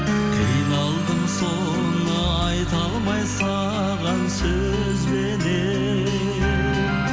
қиналдым соны айта алмай саған сөзбенен